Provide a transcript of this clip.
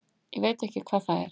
Ég veit ekki hvað það er.